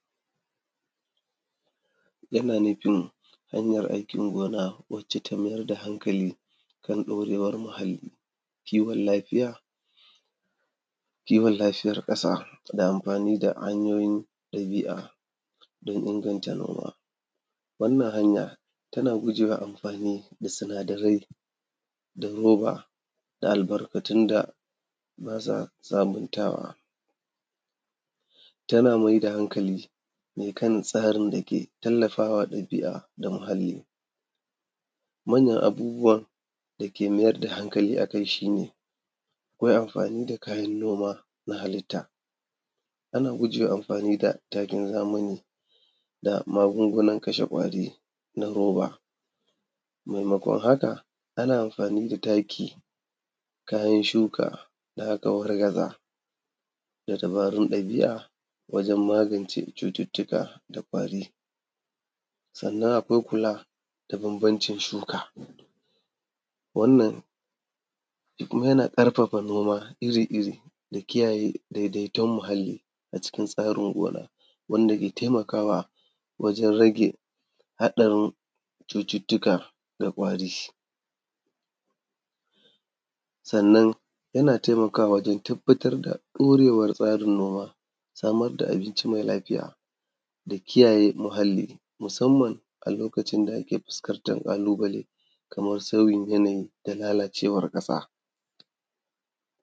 Yana nufin hanyar aikin gona wacce ta mayar da hankali kan ɗorewar muhalli, kiwon lafiya; kiwon lafiyar ƙasa da amfani da hanyoyin ɗabi’a don inganta noma. Wannan hanya, tana guje wa amfani da sinadarai na roba da albarkatun da ba sa sabuntawa. Tana me da hankali ne kan tsarin da ke tallafa wa ɗabi’a da muhalli. Manyan abubuwan da ke mayar da hankali a kai, shi ne akwai amfani da kayan noma na halitta. Ana guje wa amfani da takin zamani da magungunan kashe ƙwari na roba, maimakon haka, ana amfani da taki, kayan shuka da aka wargaza da dabarun ɗabi’a wajen magance cututtuka da ƙwari. Sannan, akwai kula da bambancin shuka, wannan shi kuma yana ƙarfafa noma iri-iri da kiyaye dedeton muhalli a cikin tsarin gona wanda ke temakawa wajen rage haɗarin cututtuka da ƙwari. Sannan, yana temakawa wajen tabbatad da ɗorewar tsarin noma, samar da abinci me lafiya da kiyaye muhalli musamman a lokacin da ake fuskantar ƙalubale kaman sauyin yanayi da lalacewar ƙasa.